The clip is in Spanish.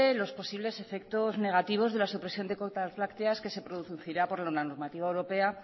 los posibles efectos negativos de la supresión de cuotas lácteas que se producirá por la normativa europea